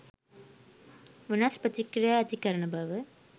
වෙනස් ප්‍රතික්‍රියා ඇති කරන බව